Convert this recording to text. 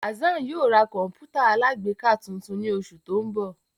Hassan yóò ra kọǹpútà alágbèéká tuntun ni oṣu ti n bọ